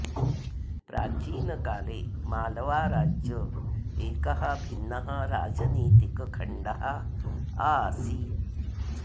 प्राचीन काले मालवा राज्य एकः भिन्नः राजनीतिक खण्डः आसित